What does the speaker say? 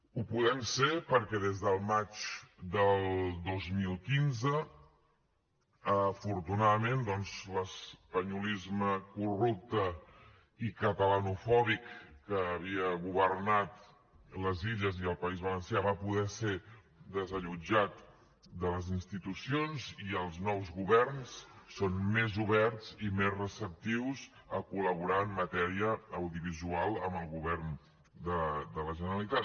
ho podem ser perquè des del maig del dos mil quinze afortunadament doncs l’espanyolisme corrupte i catalanofòbic que havia governat les illes i el país valencià va poder ser desallotjat de les institucions i els nous governs són més oberts i més receptius a col·laborar en matèria audiovisual amb el govern de la generalitat